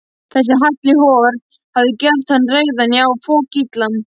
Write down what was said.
Þessi Halli hor hafði gert hann reiðan, já, fokillan.